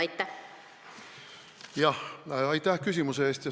Aitäh küsimuse eest!